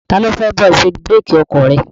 Ta ló fẹ́ bá ẹ ṣe búrékì ọkọ̀ rẹ?